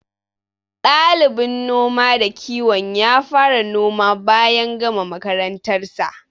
Ɗalibin noma da kiwon ya fara noma bayan gama makarantar sa.